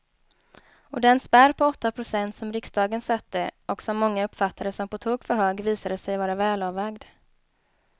Och den spärr på åtta procent som riksdagen satte och som många uppfattade som på tok för hög visade sig vara välavvägd.